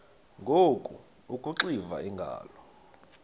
ngoku akuxiva iingalo